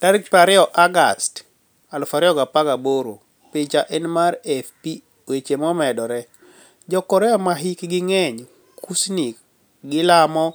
20 Agost, 2018 Picha eni mar AFP Weche momedore, Jo-Korea ma hikgi nig'eniy Kuusnii ka gilamo